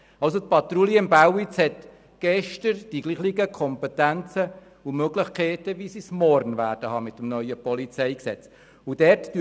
Die Patrouille im Bälliz hatte somit gestern die gleichen Kompetenzen und Möglichkeiten, wie sie morgen mit dem neuen PolG haben wird.